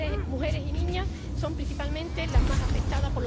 Mujeres y niñas son, principalmente, las más afectadas